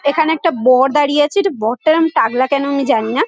এখানে একটা বর দাঁড়িয়ে আছে। এটা বরটা এরম টাকলা কেন আমি জানিনা।